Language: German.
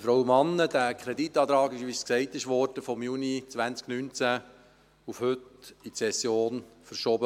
Dieser Kreditantrag wurde, wie es gesagt wurde, von Juni 2019 auf heute in die Session verschoben.